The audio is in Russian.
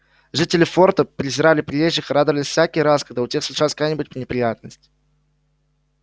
жители форта презирали приезжих и радовались всякий раз когда у тех случалась какая-нибудь неприятность